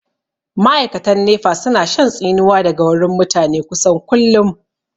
Ma'aikatan nefa su na shan tsinuwa daga wurin mutane kusan kullum